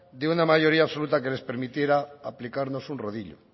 de una mayoría absoluta que les permitiera aplicarnos un rodillo